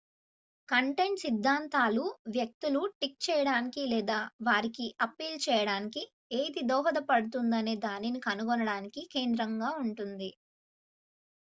content సిద్ధాంతాలు వ్యక్తులు tick చేయడానికి లేదా వారికి అప్పీల్ చేయడానికి ఏది దోహదపడుతుందనే దానిని కనుగొనడానికి కేంద్రంగా ఉంటుంది